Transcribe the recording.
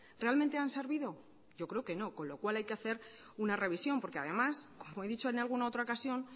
realmente han servido yo creo que no con lo cual hay que hacer una revisión porque además como he dicho en alguna otra ocasión